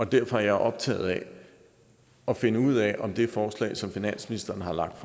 derfor er jeg optaget af at finde ud af om det forslag som finansministeren har lagt